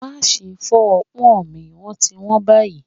Máa ṣe fọ́ ọpọ́n mi wón ti wón báyìí.